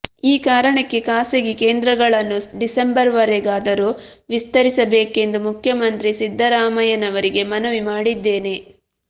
ಈ ಕಾರಣಕ್ಕೆ ಖಾಸಗಿ ಕೇಂದ್ರಗಳನ್ನು ಡಿಸೆಂಬರ್ವರೆಗಾದರೂ ವಿಸ್ತರಿಸಬೇಕೆಂದು ಮುಖ್ಯಮಂತ್ರಿ ಸಿದ್ದರಾಮಯ್ಯನವರಿಗೆ ಮನವಿ ಮಾಡಿದ್ದೇನೆ